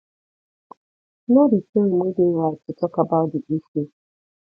know di time wey de right to talk about di issue